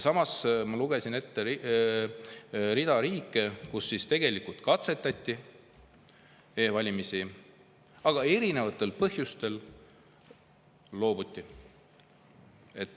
Samas ma ju lugesin ette rea riike, kus tegelikult katsetati e-valimisi, aga erinevatel põhjustel loobuti.